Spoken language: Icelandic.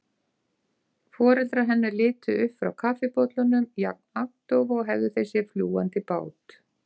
Foreldrar hennar litu upp frá kaffibollunum, jafn agndofa og hefðu þeir séð fljúgandi bát.